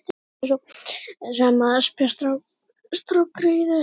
Af hverju varstu svo sem að espa strákgreyið upp?